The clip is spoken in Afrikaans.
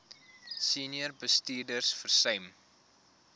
senior bestuurders versuim